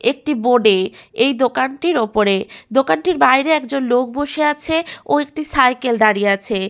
একটি বোর্ডে এই দোকানটির ওপরে দোকানটির বাইরে একজন লোক বসে আছে ও একটি সাইকেল দাঁড়িয়ে আছে।